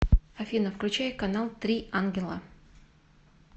афина включай канал три ангела